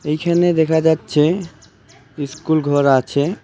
এইখানে দেখা যাচ্ছে ইস্কুলঘর আছে।